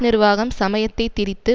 நிர்வாகம் சமயத்தை திரித்து